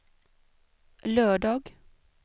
lördag